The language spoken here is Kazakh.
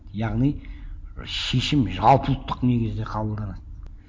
яғни шешім жалпыұлттық негізде қабылданады